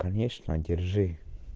конечно держи